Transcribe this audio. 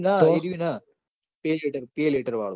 ના એરુ ના peletarpeletar વાળું